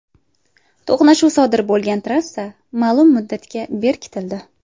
To‘qnashuv sodir bo‘lgan trassa ma’lum muddatga berkitildi.